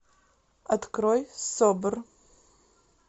открой собр